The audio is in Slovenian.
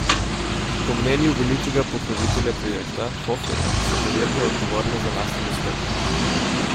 Po mnenju velikega pokrovitelja projekta, Hoferja, so podjetja odgovorna za lasten uspeh.